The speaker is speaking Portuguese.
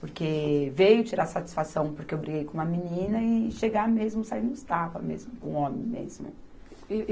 Porque veio tirar satisfação porque eu briguei com uma menina e chegar mesmo sair nos tapas mesmo, com homem mesmo. E